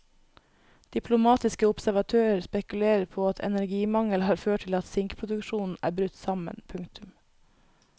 Diplomatiske observatører spekulerer på at energimangel har ført til at sinkproduksjonen er brutt sammen. punktum